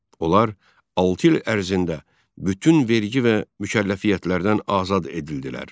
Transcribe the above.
Onlar altı il ərzində bütün vergi və mükəlləfiyyətlərdən azad edildilər.